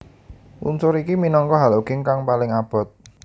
Unsur iki minangka halogin kang paling abot